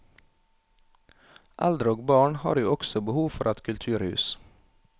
Eldre og barn har jo også behov for et kulturhus.